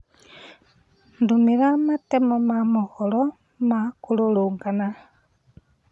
ndũmĩra matemo ma mohoro ma kũrũrũngana